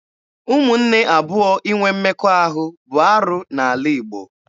Ụmụnne abụọ inwe mmekọahụ bụ arụ n'ala Igbo.